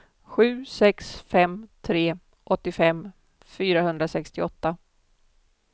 sju sex fem tre åttiofem fyrahundrasextioåtta